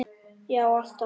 Já alltaf.